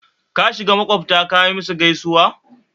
kashiga maƙwabta kayi musu gaisuwa?